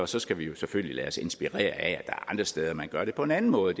så skal vi jo selvfølgelig lade os inspirere af at er andre steder man gør det på en anden måde